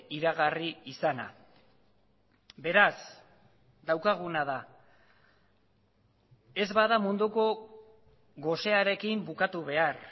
iragarri izana beraz daukaguna da ez bada munduko gosearekin bukatu behar